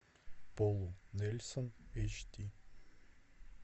полу нельсон эйч ди